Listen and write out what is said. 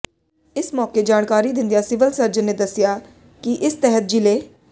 ਇਸ ਮੌਕੇ ਜਾਣਕਾਰੀ ਦਿੰਦਿਆਂ ਸਿਵਲ ਸਰਜਨ ਨੇ ਦੱਸਿਆ ਕਿ ਇਸ ਤਹਿਤ ਜਿਲ੍ਹੇ